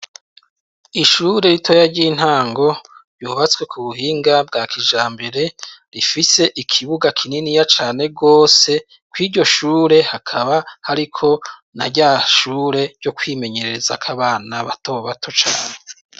Ishure ritoya ry'intango ryubatswe ku buhinga bwa kijambere rifise ikibuga kininiya cane rwose kw'iryoshure hakaba hariko naryashure ryo kwimenyereza ko abana batobato cane.